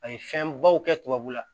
A ye fɛnbaw kɛ tubabu la